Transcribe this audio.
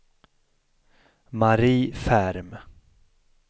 Marie Ferm